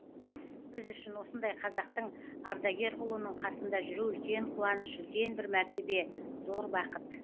біз үшін осындай қазақтың ардагер ұлының қасында жүру үлкен қуаныш үлкен бір мәртебе зор бақыт